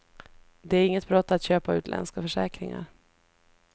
Det är inget brott att köpa utländska försäkringar.